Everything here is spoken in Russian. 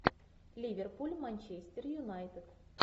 ливерпуль манчестер юнайтед